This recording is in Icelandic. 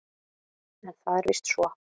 En það er víst svo.